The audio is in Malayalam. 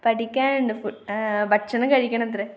പഠിക്കാനുണ്ട്. ഭക്ഷണം കഴിക്കണത്രെ.